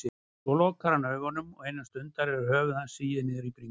Svo lokar hann augunum og innan stundar er höfuð hans sigið niður á bringu.